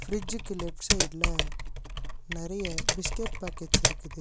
ஃபிரிட்ஜுக்கு left சைடுல நெறைய biscuit packets இருக்குது.